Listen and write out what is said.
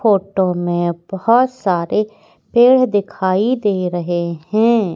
Photo में बहुत सारे पेड़ दिखाई दे रहे हैं।